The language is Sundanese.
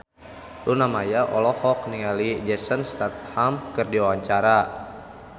Luna Maya olohok ningali Jason Statham keur diwawancara